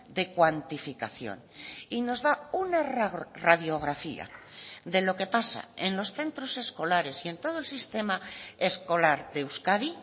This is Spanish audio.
de cuantificación y nos da una radiografía de lo que pasa en los centros escolares y en todo el sistema escolar de euskadi